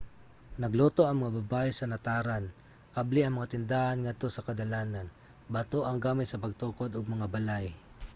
nagluto ang mga babaye sa nataran; abli ang mga tindahan ngadto sa kadalanan. bato ang gamit sa pagtukod og mga balay